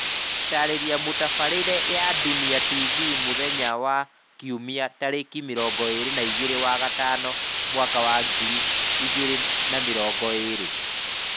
Gũtaarĩria mũtabarĩre ya Dunia TV mũthenya wa Kiumia 22/05/2020